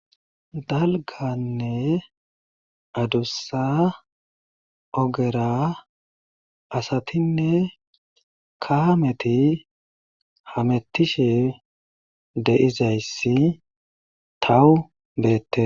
Dalgganne adussa ogera asatinne kaameti hamettishe de7izayssi taw beette.